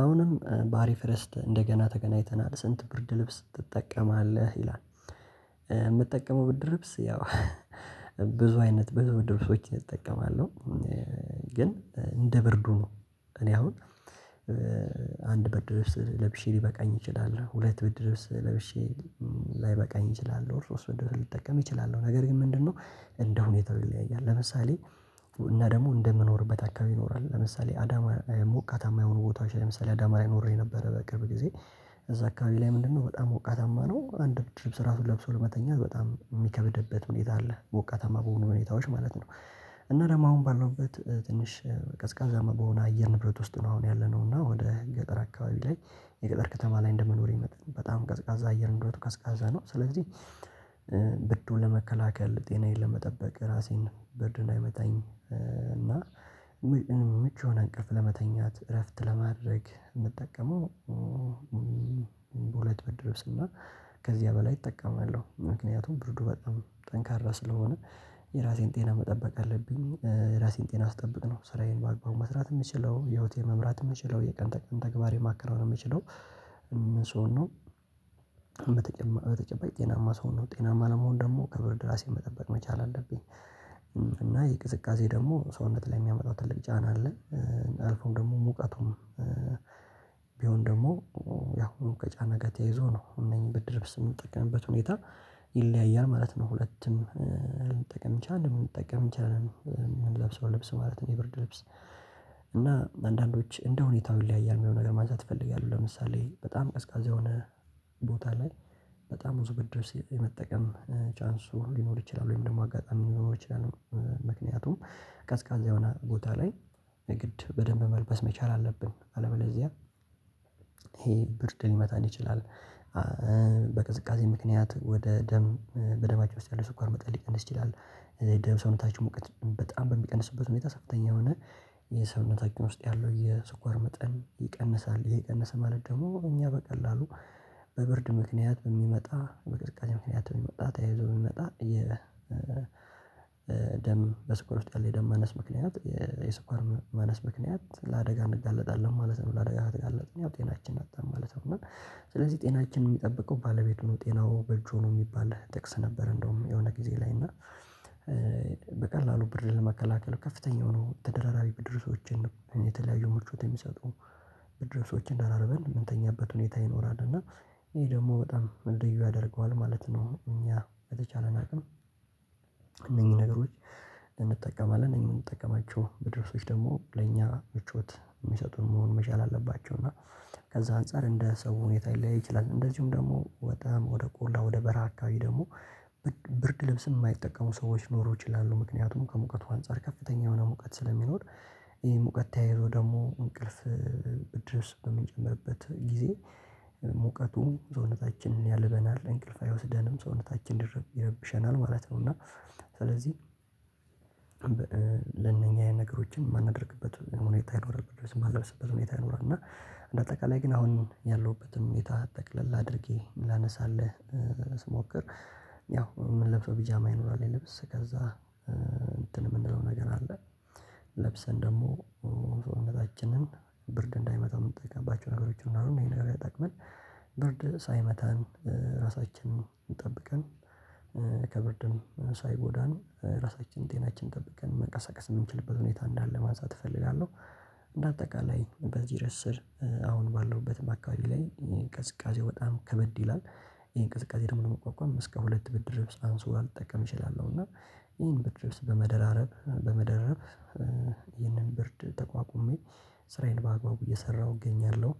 አሁንም ባሪፍ ርእስት እንደገና ተገናኝተናል ስንት ብርድ ልብስ ትጠቀማለህ ይላል? የምትጠቀመው ብርድ ልብስ ያው ብዙ አይነት ብድር ብስ እጠቀማል። ግን እንደ ብርዱ ነው እኔ አሁን አንድ በድረስ ለብሼ ሊበቃኝ ይችላል። ሁለት በድረስ ለብሼ ላይበቃኝ እችላለሁ ወይ ሶስት ብርድ ልብስ ልጠቀም እችላለሁ? ነገር ግን ምንድነው ሁኔታው ይለያያል። ለምሳሌ እና ደግሞ እንደምኖርበት አካባቢ ይኖራል። ለምሳሌ አዳማ ሞቃታማ የሆኑ ቦታዎች ለምሳሌ አዳማ ላይ ኖሬ ነበረ በቅርብ ጊዜ። እዛ አካባቢ ላይ ምንድነው በጣም ወቃታማ ነው አንድ ብርድ ልብስ ራሱ ለብሶ ለመተኛት በጣም የሚከብድበት ምኔታ አለ። ሞቃታማ በሆኑ ምኔታዎች ማለት ነው። እና ደግሞ አሁን ባለውበት ትንሽ ቀዝቃዛ መሆን አየር ንብረት ውስጥ ነው። አሁን ያለነው እና ወደ ገጠር አካባቢ ላይ የገጠር ከተማ ላይ እንደመኖሪ መጠን በጣም ቀዝቃዛ አየር እንደሆነ ቀዝቃዛ ነው። ስለዚህ ብዱን ለመከላከል ጤናዬን ለመጠበቅ ራሴን ብርድ እንዳይመታኝ እና ምቹን አንቀፍ ለመተኛት እረፍት ለማድረግ የምጠቀመው። በሁለት ብርድ ልብስ እና ከዚያ በላይ እጠቀማለሁ ምክንያቱም ብርዱ በጣም ጠንካራ ስለሆነ የራሴን ጤና መጠበቅ አለብኝ። የራሴን ጤና አስጠብቅነው ስራዬን በአግባቡ መስራት የምችለው ህይወቴን መምራት የምችለው የቀን ተቀን ተግባር የማከረው ነው የምችለው ስሆን ነው። በተጨባጭ ጤናማ ሰው ነው ጤናማ ለመሆን ደግሞ ክብር ድራሴን መጠበቅ መቻል አለብኝ። እና ይሄ ቅዝቃዜ ደግሞ ሰውነት ላይ የሚያመጣው ትልቅ ጫና አለ። አልፎም ደግሞ ሙቀቱም ቢሆን ደግሞ ያሁኑ ከጫና ጋር ተያይዞ ነው እነዚህን ብድር ብስጥ የምጠቀምበት ሁኔታ ይለያያል ማለት ነው። ሁለቱም ልንጠቀም ቻልን ልንጠቀም ይቻላል። የምንለብሰው ልብስ ማለት ነው የብርድ ልብስ እና አንዳንዶች እንደሁኔታው ይለያያል የሚሆነው ነገር ማንሳት ይፈልጋሉ ለምሳሌ በጣም ቀዝቃዛ የሆነ ቦታ ላይ በጣም ብዙ ብድር ስለመጠቀም ቻንሱ ሊኖር ይችላል። ወይም ደግሞ አጋጣሚ ሊኖር ይችላል። ምክንያቱም ቀዝቃዛ የሆነ ቦታ ላይ ንግድ በደንብ መልበስ መቻል አለብን። አለበለዚያ ይሄ ብርድ ሊመታን ይችላል። በቅዝቃዜ ምክንያት ወደ ደም በደማቸው ለምሳሌ ስኳር መጠን ሊቀንስ ይችላል። ደብ ሰውነታችን ሙቀት በጣም በሚቀንስበት ሁኔታ ከፍተኛ የሆነ የሰውነታችን ውስጥ ያለው የስኳር መጠን ይቀንሳል ይህ ቀነሰ ማለት ደግሞ እኛ በቀላሉ በብርድ ምክንያት በሚመጣ በቅዝቃዜ ምክንያት በሚመጣ ተያይዞ በሚመጣ የደም በስኳር ውስጥ ያለ ደም ማነስ ምክንያት የስኳር ማነስ ምክንያት ለአደጋ እንጋለጣለን ማለት ነው። ለአደጋ ተጋለጥን ያው ጤናችን አጣን ማለት ነው። እና ስለዚህ ጤናችን የሚጠብቀው ባለቤቱ ነው ጤናው በእጁ ነው የሚባል ጥቅስ ነበር። እንደውም የሆነ ጊዜ ላይ እና በቀላሉ ብር ለመከላከል ከፍተኛ ሆኖ ተደራራቢ ብድር ሰዎችን የተለያዩ ምቾት የሚሰጡ ድረሶችን ደራርበን የምንተኛበት ሁኔታ ይኖራል። እና ይሄ ደግሞ በጣም ደግሞ ለዩ ያደርገዋል ማለት ነው። እኛ የተቻለን አቅም እነኚህ ነገሮች ልንጠቀማለት እነኚህን እንደምንጠቀማቸው ብርድልብሶች ደግሞ ለእኛ ምቾት የሚሰጡት መሆን መቻል አለባቸው። እና ከዛ አንፃር እንደ ሰው ሁኔታ ይለያይ ይችላል። እንደዚሁም ደግሞ በጣም ወደ ቆላ ወደ በርሃ አካባቢ ደግሞ ብርድ ልብስ የማይጠቀሙ ሰዎች ኖሮ ይችላሉ ምክንያቱም ከሙቀቱ አንፃር ከፍተኛ የሆነ ሙቀት ስለሚኖር። ይሄ ሙቀት ተያይዞ ደግሞ እንቅልፍ ብርድልብስ በሚጨመርበት ጊዜ ሙቀቱም ሰውነታችንን ያልበናል እንቅልፍ አይወስደንም ሰውነታችን ይረብሸናል ማለት ነው። እና ስለዚህ ለነኛ ነገሮችን የማናደርግበት ሁኔታ ይኖርብን ድረስ የማገልግበት ሁኔታ ይኖርና። እንደ አጠቃላይ ግን አሁን ያለሁበትም የታጠቅለል አድርጌ ላነሳልህ ስሞክር ያው ምንለብሰው ፒጃማ ይኖራል። የልብስ ከዛ እንትን የምንለው ነገር አለ። ለብሰን ደግሞ ሰውነታችንን ብርድ እንዳይመታ የምንጠይቀባቸው ነገሮች እንዳሉ ይሄ ነገር ያጠቅመን ብርድ ሳይመታን ራሳችንን ጠብቀን ከብርድን ሳይጎዳን ራሳችን ጤናችን ጠብቀን መቀሰቀስ የምንችልበት ሁኔታ እንዳለ ማንሳት እፈልጋለሁ። በአጠቃላይ በዚህ ርዕስ ስር አሁን ባለውበት በአካባቢ ላይ ቅዝቃዜ በጣም ከበድ ይላል። ይሄን ቅዝቃዜ ደግሞ ነው መቋቋም እስከ ሁለት ብድር ርብስ አንስቦ አልጠቀም እችላለሁ እና ይሄን በድረስ በመደራረብ በመደረብ ይህንን ብርድ ተቋቁሜ ስራዬን በአግባቡ እየሰራሁ እገኛለሁ።